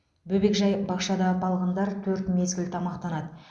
бөбекжай бақшада балғындар төрт мезгіл тамақтанады